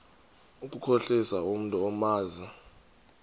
ukukhohlisa umntu omazi